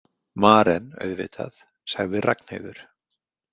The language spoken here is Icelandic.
Maren auðvitað, sagði Ragnheiður.